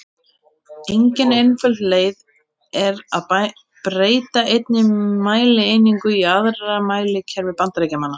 Engin einföld leið er að breyta einni mælieiningu í aðra í mælikerfi Bandaríkjamanna.